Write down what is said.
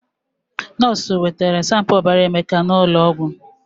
Nọọsụ na jee Emeka ọbara sanpu n'ụlọ ọgwụ